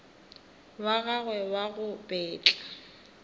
wa gagwe wa go betla